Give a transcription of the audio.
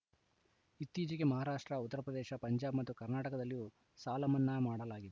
ಇತ್ತೀಚೆಗೆ ಮಹಾರಾಷ್ಟ್ರ ಉತ್ತರಪ್ರದೇಶ ಪಂಜಾಬ್‌ ಮತ್ತು ಕರ್ನಾಟಕದಲ್ಲಿಯೂ ಸಾಲ ಮನ್ನಾ ಮಾಡಲಾಗಿದೆ